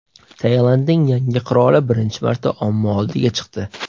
Tailandning yangi qiroli birinchi marta omma oldiga chiqdi.